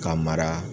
Ka mara